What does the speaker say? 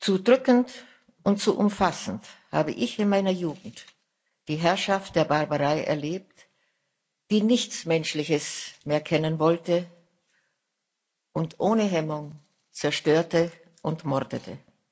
Zu drückend und zu umfassend habe ich in meiner Jugend die Herrschaft der Barbarei erlebt, die nichts Menschliches mehr kennen wollte und ohne Hemmung zerstörte und mordete.